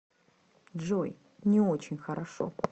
джой не очень хорошо